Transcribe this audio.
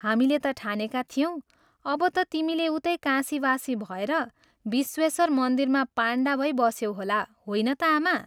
हामीले त ठानेका थियौं, अब ता तिमी उतै काशीवासी भएर विश्वेश्वर मन्दिरमा पण्डा भई बस्यौ होला होइन त आमा?